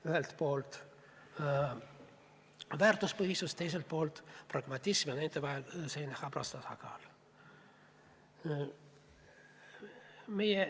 Ühelt poolt väärtuspõhisus ja teiselt poolt pragmatism ja nende vahel selline habras tasakaal.